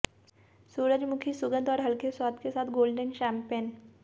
सूरजमुखी सुगंध और हल्के स्वाद के साथ गोल्डन शैंपेन